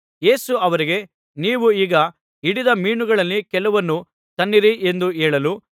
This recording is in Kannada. ಯೇಸು ಅವರಿಗೆ ನೀವು ಈಗ ಹಿಡಿದ ಮೀನುಗಳಲ್ಲಿ ಕೆಲವನ್ನು ತನ್ನಿರಿ ಎಂದು ಹೇಳಲು